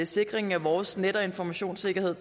sikringen af vores net og informationssikkerhed